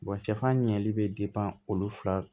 sɛfan ɲɛli bɛ olu fila